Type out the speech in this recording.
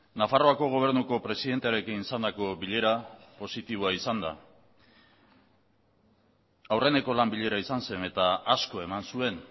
nafarroako gobernuko presidentearekin izandako bilera positiboa izan da aurreneko lan bilera izan zen eta asko eman zuen